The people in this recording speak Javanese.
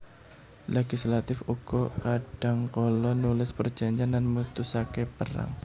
Legislatif uga kadhangkala nulis perjanjèn lan mutusaké perang